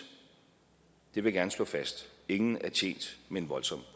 det vil jeg gerne slå fast ingen er tjent med en voldsom